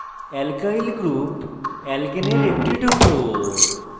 alkyl group alkane এর একটি টুকরো